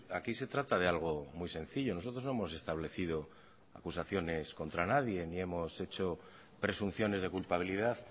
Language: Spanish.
aquí se trata de algo muy sencillo nosotros no hemos establecido acusaciones contra nadie ni hemos hecho presunciones de culpabilidad